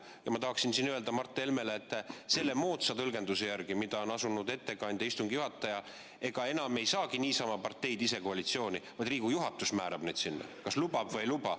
Ja ma tahaksin siinkohal öelda Mart Helmele, et selle moodsa tõlgenduse järgi, mida on asunud ettekandja ja istungi juhataja, ei saagi parteid enam niisama ise koalitsiooni, vaid Riigikogu juhatus määrab neid sinna, kas lubab või ei luba.